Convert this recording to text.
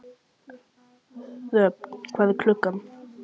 Röfn, hvað er klukkan?